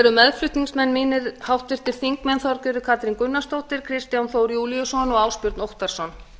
eru meðflutningsmenn mínir háttvirtir þingmenn þorgerður katrín gunnarsdóttir kristján þór júlíusson og ásbjörn óttarsson